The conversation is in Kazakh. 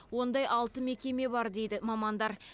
ондай алты мекеме бар дейді мамандар